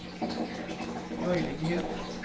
möjligheter